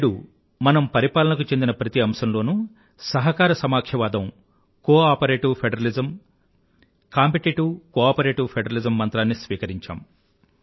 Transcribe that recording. నేడు మనం పరిపాలనకు చెందిన ప్రతి అంశంలోనూ సహకార సమాఖ్యవాదం కోఆపరేటివ్ ఫెడరలిజం కంటే కూడా ముందుకు నడిచి కాంపిటిటివ్ కోఆపరేటివ్ ఫెడరలిజం మంత్రాన్ని స్వీకరించాం